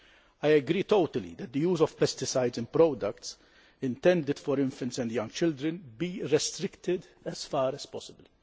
I agree totally that the use of pesticides in products intended for infants and young children should be restricted as far as possible.